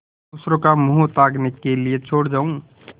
दूसरों का मुँह ताकने के लिए छोड़ जाऊँ